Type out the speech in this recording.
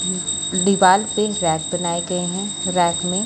दीवाल पर रैक बनाये गए है रैक में --